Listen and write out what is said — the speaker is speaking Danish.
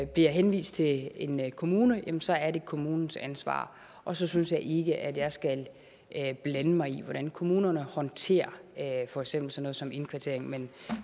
bliver henvist til en kommune jamen så er det kommunens ansvar og så synes jeg ikke at jeg skal blande mig i hvordan kommunerne håndterer for eksempel sådan noget som indkvartering men